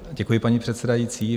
Děkuji, paní předsedající.